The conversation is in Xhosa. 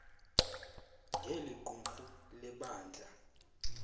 ngeli qumrhu lebandla